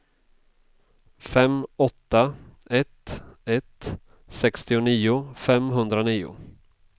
fem åtta ett ett sextionio femhundranio